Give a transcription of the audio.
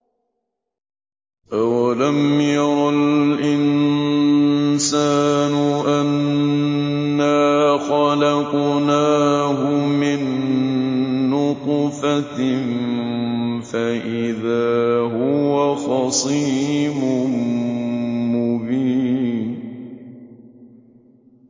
أَوَلَمْ يَرَ الْإِنسَانُ أَنَّا خَلَقْنَاهُ مِن نُّطْفَةٍ فَإِذَا هُوَ خَصِيمٌ مُّبِينٌ